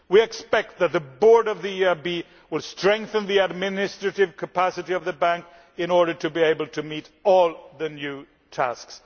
We expect that the Board of the EIB will strengthen the administrative capacity of the Bank in order to be able to accomplish all the new tasks.